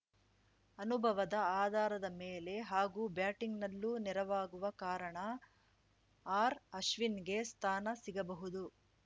ಅನುಭವದ ಆಧಾರದ ಮೇಲೆ ಹಾಗೂ ಬ್ಯಾಟಿಂಗ್‌ನಲ್ಲೂ ನೆರವಾಗುವ ಕಾರಣ ಆರ್‌ಅಶ್ವಿನ್‌ಗೆ ಸ್ಥಾನ ಸಿಗಬಹುದು